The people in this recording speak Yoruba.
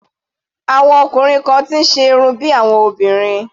Àwọn ọkùnrin kan ti ń ṣe irun bí àwọn obìnrin.